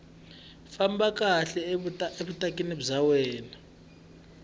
famba kahle evukatini bya wena